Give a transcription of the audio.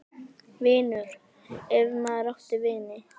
. vinur, ef maður átti vini.